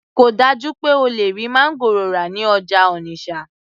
kò dájú pé o lè rí máńgòrò rà ní ọjà Onitsha